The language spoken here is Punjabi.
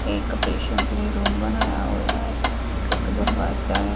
ਇੱਕ ਪੇਸ਼ੈਂਟ ਲਈ ਰੂਮ ਬਣਾਇਆ ਹੋਇਆ ਹੈ ਤੇ ਇੱਕ ਦਰਵਾਜਾ ਹੈ।